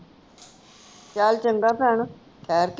ਚਲ ਚੰਗਾ ਭੈਣ ਠਹਿਰ ਕੇ